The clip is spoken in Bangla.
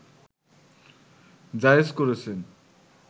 জায়েজ করেছেন